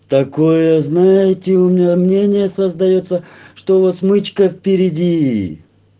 такое знаете у меня мнение создаётся что у вас мычко впереди